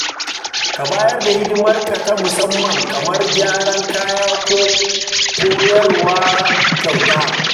Ka bayar da hidimarka ta musamman kamar gyaran kaya ko koyarwa kyauta.